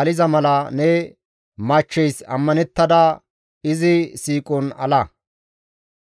aliza mala ne machcheys ammanettada izi siiqon ala.